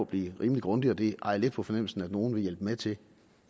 blive rimelig grundig og det har jeg lidt på fornemmelsen at nogen vil hjælpe med til